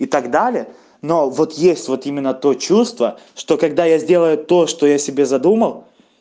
и так далее но вот есть вот именно то чувство что когда я сделаю то что я себе задумал